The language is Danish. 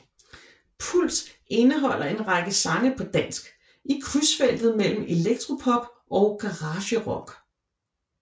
Puls indeholder en række sange på dansk i krydsfeltet mellem elektropop og garagerock